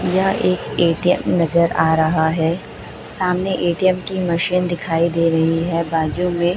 यह एक ए_टी_एम नजर आ रहा है सामने ए_टी_एम की मशीन दिखाई दे रही है बाजू में।